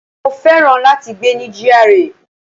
Mo féràn láti gbé ní GRA.